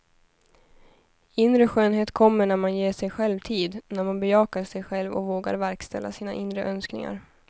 Inre skönhet kommer när man ger sig själv tid, när man bejakar sig själv och vågar verkställa sina inre önskningar.